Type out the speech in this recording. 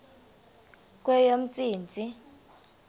kweyomntsintsi